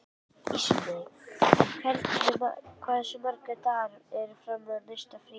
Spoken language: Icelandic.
Ísmey, hversu margir dagar fram að næsta fríi?